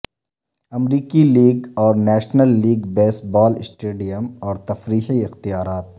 امریکی لیگ اور national league baseball stadium اور تفریحی اختیارات